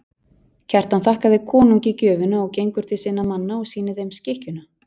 Kjartan þakkar konungi gjöfina og gengur til sinna manna og sýnir þeim skikkjuna.